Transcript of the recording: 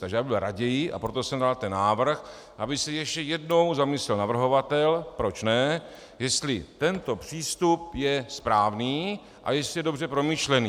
Takže bych byl raději, a proto jsem dal ten návrh, aby se ještě jednou zamyslel navrhovatel, proč ne, jestli tento přístup je správný a jestli je dobře promyšlený.